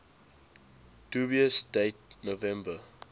dubious date november